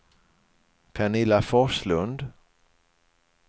Pernilla Forslund